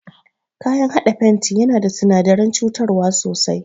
Kayan haɗa fenti yana da sinadaran cutar sosai.